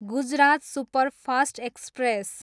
Gujarat superfast express